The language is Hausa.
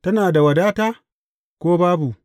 Tana da wadata, ko babu?